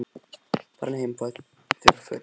Farðu nú heim og fáðu þurr föt hjá mömmu þinni.